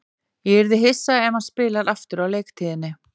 Ég yrði hissa ef hann spilar aftur á leiktíðinni.